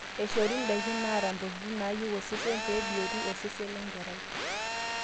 eishori ndaiki naata intokitin naayieu osesen pee ebiotu osesen lenkerai